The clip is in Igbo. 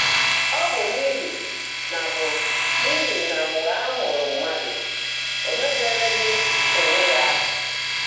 Ọ́ bụ́ n’íhí ná bụ́ n’íhí ná mgbe á mụ́ụ́rụ́ mmádụ́, ó meèbeèréghị́ óńwé yá áhá.